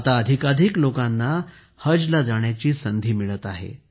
आता अधिकाधिक लोकांना हजला जाण्याची संधी मिळत आहे